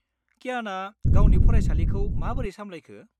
-क्याना गावनि फरायसालिखौ माबोरै सामलायखो?